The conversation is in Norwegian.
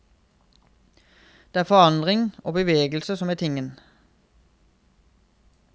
Det er forandring og bevegelse som er tingen.